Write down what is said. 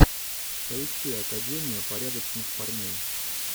поищи академию порядочных парней